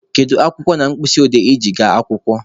Kedu akwụkwọ na mkpịsị odee I ji aga akwụkwọ?